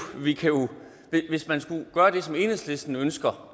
hvis man skulle gøre det som enhedslisten ønsker